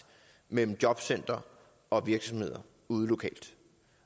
mellem jobcentrene og virksomhederne ude lokalt